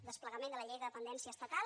desplegament de la llei de dependència estatal